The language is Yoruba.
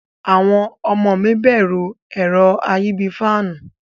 Awon omo mi beru ero ayi bii faanu.